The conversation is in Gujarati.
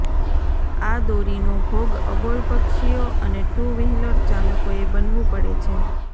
આ દોરીનો ભોગ અબોલ પક્ષીઓ અને ટુ વ્હીલર ચાલકોએ બનવું પડે છે